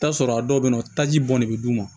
I bi t'a sɔrɔ a dɔw be yen nɔ taji bɔn ne be d'u ma